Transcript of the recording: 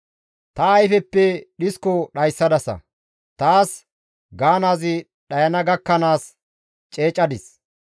Ta ayfeppe dhisko dhayssadasa; taas gaanaazi dhayana gakkanaas ceecadis.